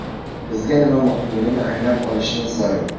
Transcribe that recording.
Bizga nima muhimligini anglab olishimiz zarur.